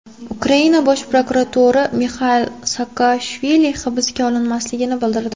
Ukraina bosh prokurori Mixail Saakashvili hibsga olinmasligini bildirdi.